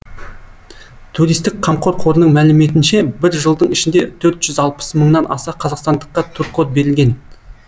туристік қамқор қорының мәліметінше бір жылдың ішінде төрт жүз алпыс мыңнан аса қазақстандыққа туркод берілген